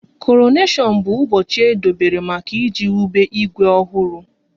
Koroneshon bụ ụbọchị e dobere maka iji wube Igwe ọhụrụ